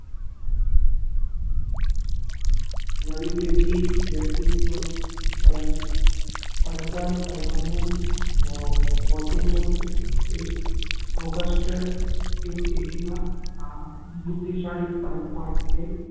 નવી પેઢી વ્યક્તિત્વ પ્રચાર કરવાનો હો હોતું હે એક ઓગસ્ટ eighteen not બુદ્ધિશાળી બાળકો માટે